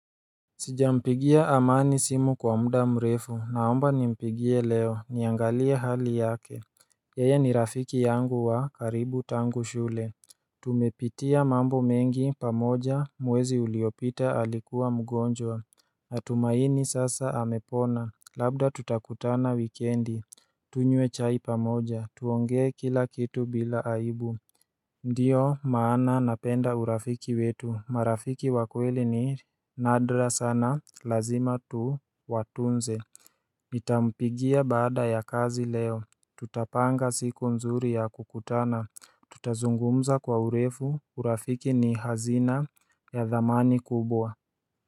Sijampigia amani simu kwa muda mrefu naomba nimpigie leo niangalia hali yake Yeye ni rafiki yangu wa karibu tangu shule Tumepitia mambo mengi pamoja mwezi uliopita alikuwa mgonjwa Natumaini sasa amepona labda tutakutana wikendi Tunywe chai pamoja tuongee kila kitu bila aibu Ndiyo maana napenda urafiki wetu marafiki wa kweli ni nadra sana lazima tu watunze Nitampigia bada ya kazi leo tutapanga siku mzuri ya kukutana Tutazungumza kwa urefu urafiki ni hazina ya dhamani kubwa.